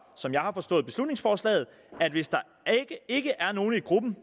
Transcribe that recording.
som jeg har forstået beslutningsforslaget at hvis der ikke er nogle i gruppen